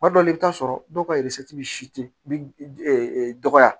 Kuma dɔw la i bi taa sɔrɔ dɔw ka dɔgɔya